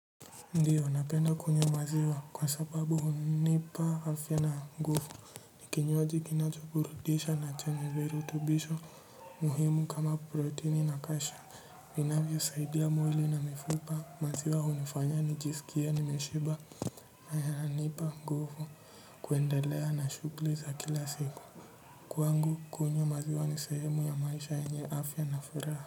Ndiyo napenda kunywa maziwa kwa sababu hunipa afya na nguvu ni kinywaji kinacho burudisha na ni chenye virutubisho muhimu kama proteni na kash vinavyo saidia mwili na mifupa maziwa hunifanya nijisikie nimeshiba haya yanipa nguvu kuendelea na shughuli za kila siku kwangu kunywa maziwa ni sehemu ya maisha yenye afya na furaha.